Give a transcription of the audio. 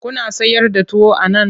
Kuna sayar da tuwo a nan?